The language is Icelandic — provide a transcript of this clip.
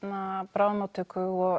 bráðamóttöku og